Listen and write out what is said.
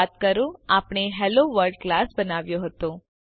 યાદ કરો આપણે હેલોવર્લ્ડ ક્લાસ બનાવ્યો હતો